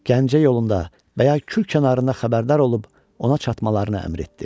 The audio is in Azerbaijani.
Gəncə yolunda və ya Kür kənarında xəbərdar olub ona çatmalarını əmr etdi.